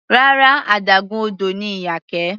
Rárá, adágún odò ni Iyake.